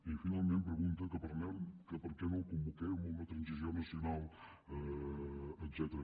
i finalment pregunta que per què no el convoquem a una transició nacional etcètera